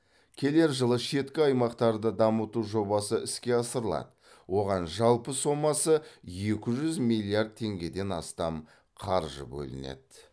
келер жылы шеткі аймақтарды дамыту жобасы іске асырылады оған жалпы сомасы екі жүз миллиард теңгеден астам қаржы бөлінеді